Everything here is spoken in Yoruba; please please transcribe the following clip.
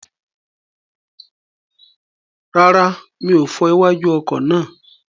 Rárá, mi ò fọ iwájú ọkọ̀ náà.